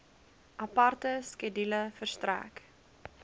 aparte skedule verstrek